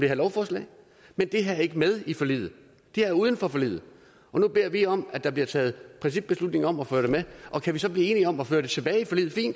lovforslaget men det her er ikke med i forliget det er uden for forliget og nu beder vi om at der bliver taget principbeslutning om at få det med og kan vi så blive enige om at føre det tilbage i forliget er